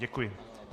Děkuji.